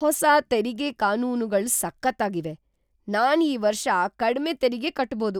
ಹೊಸ ತೆರಿಗೆ ಕಾನೂನ್‌ಗಳು ಸಖತ್ತಾಗಿವೆ! ನಾನ್‌ ಈ ವರ್ಷ ಕಡ್ಮೆ ತೆರಿಗೆ ಕಟ್ಬೋದು!